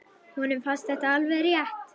Honum fannst þetta alveg rétt.